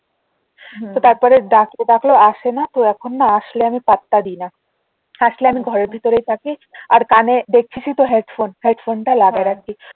তো তারপরে যাক কাকু আসেনা তো এখন না আসলেও আমি পাত্তা দি না আসলে আমি ঘরের ভেতরেই থাকি আর কানে দেখছিসই তো হেডফোন হেডফোনটা লাগায়ে রাখি